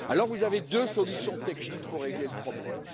Alors vous avez deux solutions techniques pour régler le problème.